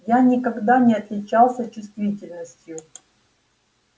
я никогда не отличался чувствительностью